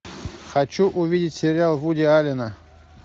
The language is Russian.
хочу увидеть сериал вуди аллена